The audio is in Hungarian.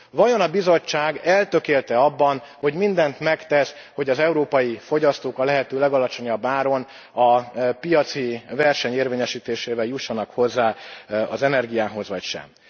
Vajon a Bizottság eltökélt e abban, hogy mindent megtegyen, hogy az európai fogyasztók a lehető legalacsonyabb áron, a piaci verseny érvényesítésével jussanak hozzá az energiához, vagy sem?